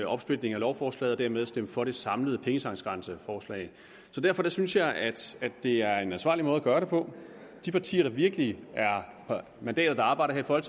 opsplitning af lovforslaget og dermed stemme for det samlede pengetanksgrænseforslag derfor synes jeg at det er en ansvarlig måde at gøre det på de partier der virkelig har mandater der arbejder